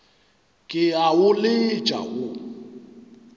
ke a o letša wo